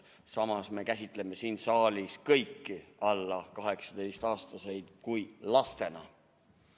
Samas me käsitame siin saalis kõiki alla 18-aastaseid lastena.